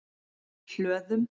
Hlöðum